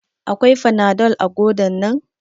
Akwai fanadol a godan nan?